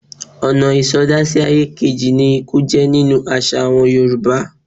Ọ̀nà ìsọdá-sí-ayé-kejì ni ikú jẹ́ nínú àṣà àwọn Yorùbá.